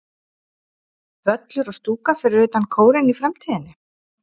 Völlur og stúka fyrir utan Kórinn í framtíðinni?